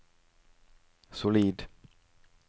solid